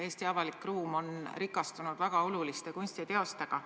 Eesti avalik ruum on rikastunud väga oluliste kunstiteostega.